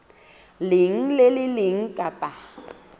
leng le le leng kapa